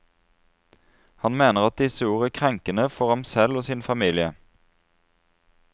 Han mener at disse ord er krenkende for ham selv og sin familie.